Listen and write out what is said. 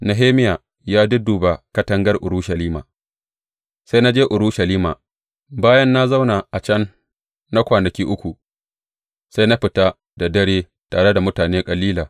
Nehemiya ya dudduba katangar Urushalima Sai na je Urushalima, bayan na zauna a can na kwanaki uku, sai na fita da dare tare da mutane kalila.